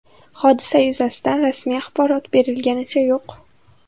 Hodisa yuzasidan rasmiy axborot berilganicha yo‘q.